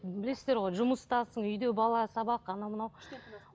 білесіздер ғой жұмыстасың үйде бала сабақ анау мынау